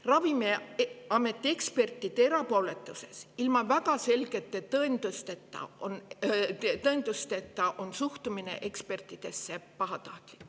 Ravimiameti ekspertide erapooletuses ilma väga selge tõenduseta on pahatahtlik.